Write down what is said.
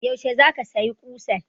Yaushe za ka saya ƙusan?